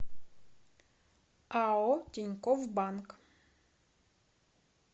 ао тинькофф банк